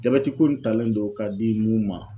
Jabɛtiko nin talen do k'a di mun ma.